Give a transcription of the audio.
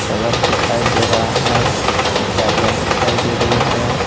सड़क दिखाई दे रहा है गाड़ियां दिखाई दे रही है।